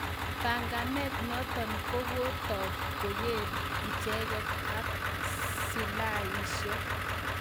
panganet notok kokotok kongeker icheket ak Silaishek